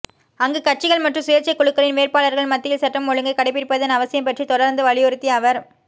அங்கு கட்சிகள் மற்றும் சுயேட்சைக் குழுக்களின் வேட்பாளர்கள் மத்தியில் சட்டம் ஒழுங்கைக் கடைப்பிடிப்பதன் அவசியம் பற்றி தொடர்ந்து வலியுறுத்திய அவர்